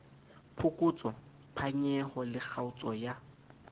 phokotso phanyeho le kgaotso ya